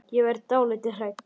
Ég verð dálítið hrædd.